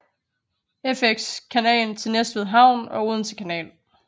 Fx kanalen til Næstved Havn og Odense Kanal